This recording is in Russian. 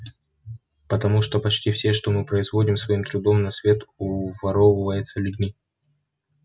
потому что почти все что мы производим своим трудом на свет уворовывается людьми